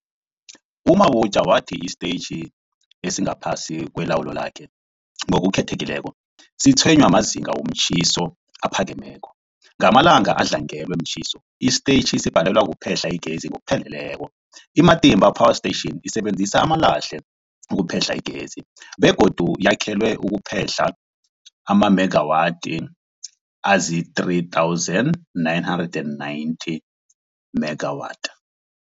U-Mabotja wathi isitetjhi esingaphasi kwelawulo lakhe, ngokukhethekileko, sitshwenywa mazinga womtjhiso aphakemeko. Ngamalanga adlangelwe mtjhiso, isitetjhi sibhalelwa kuphehla igezi ngokupheleleko. I-Matimba Power Station isebenzisa amalahle ukuphehla igezi begodu yakhelwe ukuphehla amamegawathi azii-3990 megawathi.